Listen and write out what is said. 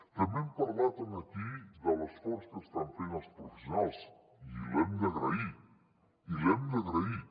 també hem parlat aquí de l’esforç que estan fent els professionals i l’hem d’agrair i l’hem d’agrair